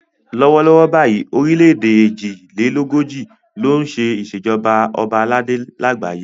Lọ́wọ́ lọ́wọ́ báyìí orílẹ̀ èdè èjì lé lógójì ló ṣe ìṣèjọba ọba aládé lágbàáyé.